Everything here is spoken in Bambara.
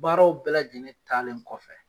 Baaraw bɛɛ lajɛlen taalen kɔfɛ